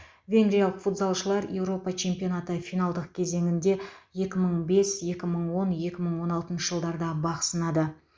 венгриялық футзалшылар еуропа чемпионаты финалдық кезеңінде екі мың бес екі мыңон екі мың он алтыншы жылдарда бақ сынады